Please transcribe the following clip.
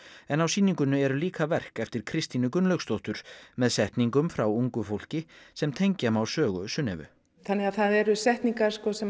en á sýningunni eru líka verk eftir Kristínu Gunnlaugsdóttur með setningum frá ungu fólki sem tengja má sögu Sunnevu þannig að það eru kannski setningar sem